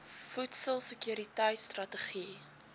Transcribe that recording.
voedsel sekuriteit strategie